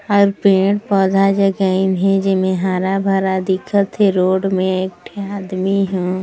और पेड़ पौधा जगाइन हे जेमें हरा भरा दिखत हे रोड़ मे एक ठ आदमी ह।